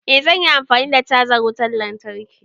Eh zan yi amfani da cajan wutan lantarki.